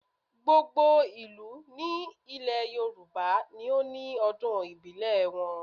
Gbogbo ìlú ní ilẹ̀ Yorùbá ni ó ní ọdún ìbílẹ̀ ti wọn